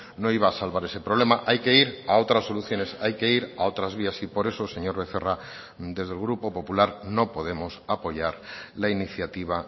no iba a salvar ese problema hay que ir a otras soluciones hay que ir a otras vías y por eso señor becerra desde el grupo popular no podemos apoyar la iniciativa